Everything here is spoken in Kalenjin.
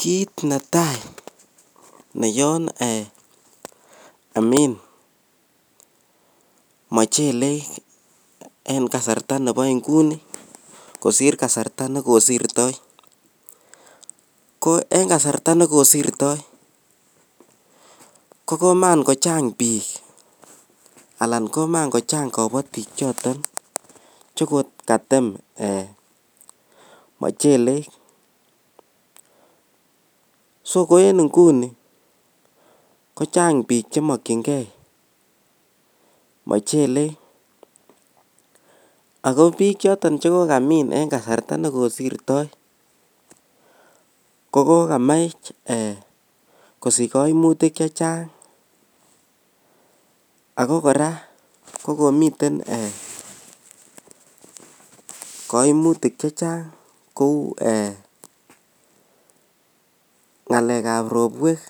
kiit netai neyoin omeib mochile en kasarta nebo nguni kosiir kasarta negosirto, en kasarta negosirto kogomagochang bik anan komagochang kobotik choton chegogatem mochelek, so ko en inguni kochang biik chemokyingee mochelek, ago biik choton chegogamiin en kasarta negosirto kogogamach kosich koimutik chechang ago kora kogomiten koimutik chechang kouu eeh ngaleek ab borweek